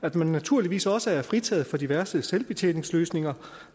at man naturligvis også er fritaget fra diverse selvbetjeningsløsninger